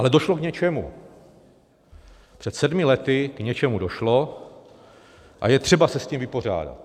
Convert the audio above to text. Ale došlo k něčemu, před sedmi lety k něčemu došlo a je třeba se s tím vypořádat.